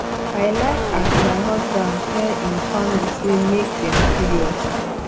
i like as my husband tell im family sey make dem free us